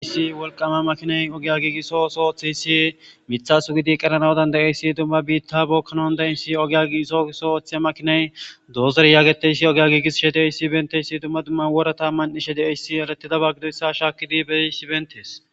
issi wolqama makiney ogiya giigisso oso ooththeyssi mithasu gidi qeranawudan de7eyssi dumma biitta bookkanon da7essi ogya giiso so ooththeya makiney doozere yaageteyssi ogya giigis she de7eyssi benteyssi dumma dumman wora tamman ishe de7eyssi alatidaba gidoyssa shaakidi beyssi bentees